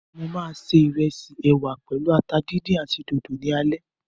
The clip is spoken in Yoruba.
Mo ma se ìrẹsì, ẹwà pèlú ata díndín àti dòdò ní alẹ́.